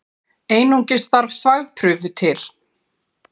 Einungis þarf þvagprufu til.